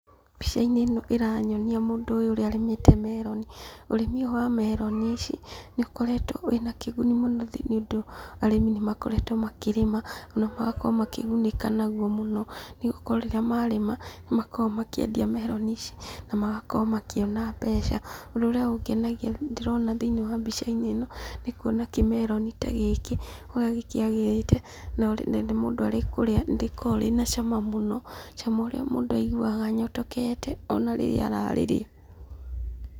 Mbica-inĩ ĩno ĩranyonia mũndũ ũyũ ũrĩa arĩmĩte meroni. Ũrĩmi ũyũ wa meroni ici, nĩ ũkoretwo ũrĩ na kĩguni mũno thĩiniĩ nĩ ũndũ, arĩmi nĩ makoretwo makĩrĩma, ona magakorwo makĩgunĩka naguo mũno. Nĩ gũkorwo rĩrĩa marĩma, nĩ makoragwo makĩendia meroni ici, na magakorwo makĩona mbeca. Ũndũ ũrĩa ũngenagia ndĩrona thĩiniĩ wa mbica-inĩ ĩno, nĩ kuona kĩmeroni ta gĩkĩ, ũrĩa gĩkĩagĩrĩte na mũndũ arĩ kũrĩa, nĩ rĩkoragwo rĩna cama mũno, cama ũrĩa mũndũ aiguaga anyotokete ona rĩrĩa ararĩrĩa.